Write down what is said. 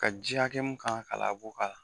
Ka ji hakɛ mun kan ka labɔ ka